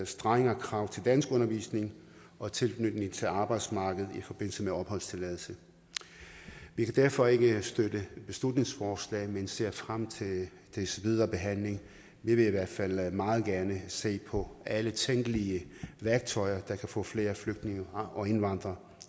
strengere krav til danskundervisning og tilknytning til arbejdsmarkedet i forbindelse med opholdstilladelse vi kan derfor ikke støtte beslutningsforslaget men ser frem til dets videre behandling vi vil i hvert fald meget gerne se på alle tænkelige værktøjer til at få flere flygtninge og indvandrere